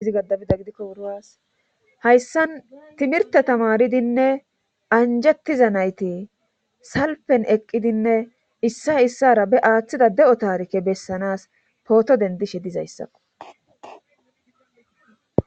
Izgaabida gidikko wuras hayssan timirte tamaridinne anjettiza nayti salpen eqqidinne issa issara be aaththida de7o taarike bessanas pooto dendishe dizayssakko